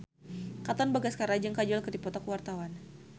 Katon Bagaskara jeung Kajol keur dipoto ku wartawan